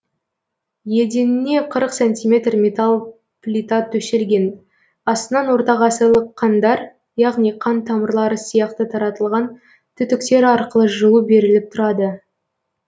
еденіне қырық сантиметр металл плита төселген астынан ортағасырлық қандар яғни қан тамырлары сияқты таратылған түтіктер арқылы жылу беріліп тұрады